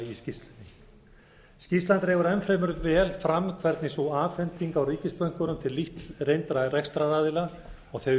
skýrslunni skýrslan dregur enn fremur vel fram hvernig sú afhending á ríkisbönkunum til lítt reyndra rekstraraðila og